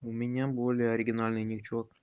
у меня более оригинальный ничок